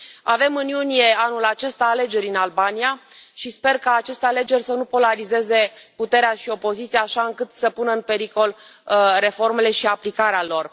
Avem în iunie anul acesta alegeri în Albania și sper ca aceste alegeri să nu polarizeze puterea și opoziția, așa încât să pună în pericol reformele și aplicarea lor.